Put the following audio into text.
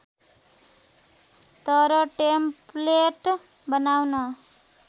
तर टेम्प्लेट बनाउन